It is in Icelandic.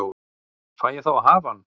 Fæ ég þá að hafa hann?